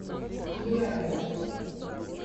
лерой